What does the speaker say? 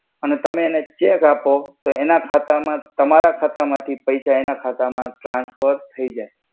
અને તમે એને ચેક આપો તો એના ખાતા મા તમારા ખાતા માથી પૈસા એના ખાતા મા ટ્રંસ્ફર થઈ જઈ.